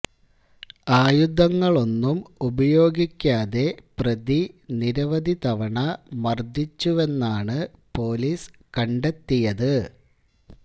ആയുധങ്ങളൊന്നും ഉപയോഗിക്കാതെ പ്രതി നിരവധി തവണ മര്ദിച്ചുവെന്നാണ് പൊലീസ് കണ്ടെത്തിയത്